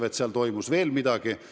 Vahest seal toimus veel midagi.